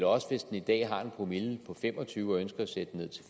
også hvis den i dag har en promille på fem og tyve og ønsker at sætte den